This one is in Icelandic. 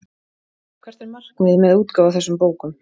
Hvert er markmiðið með útgáfu á þessum bókum?